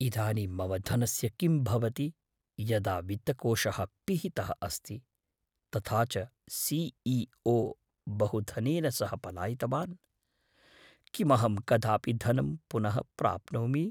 इदानीं मम धनस्य किं भवति यदा वित्तकोषः पिहितः अस्ति, तथा च सि ई ओ बहुधनेन सह पलायितवान्? किमहं कदापि धनं पुनः प्राप्नोमि?